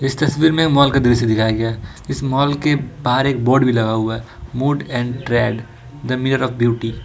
इस तस्वीर में एक माल का दृश्य दिखाया गया है इस माल के बाहर एक बोड भी लगा हुआ है mode and trade the mirror of beauty.